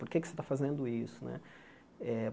Por que você está fazendo isso né? Eh